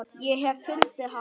Ég hef fundið hana!